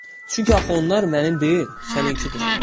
Çünki axı onlar mənim deyil, səninkidir.